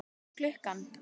Hvað er klukkan?